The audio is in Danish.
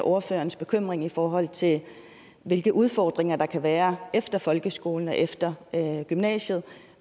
ordførerens bekymring i forhold til hvilke udfordringer der kan være efter folkeskolen og efter gymnasiet